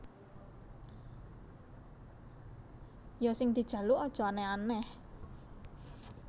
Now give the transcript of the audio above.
Ya sing dijaluk aja aneh aneh